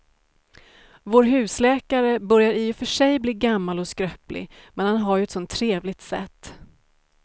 Vår husläkare börjar i och för sig bli gammal och skröplig, men han har ju ett sådant trevligt sätt!